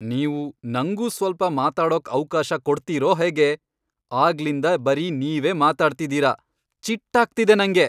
ನೀವು ನಂಗೂ ಸ್ವಲ್ಪ ಮಾತಾಡೋಕ್ ಅವ್ಕಾಶ ಕೊಡ್ತೀರೋ ಹೇಗೆ? ಆಗ್ಲಿಂದ ಬರೀ ನೀವೇ ಮಾತಾಡ್ತಿದೀರ, ಚಿಟ್ಟಾಗ್ತಿದೆ ನಂಗೆ.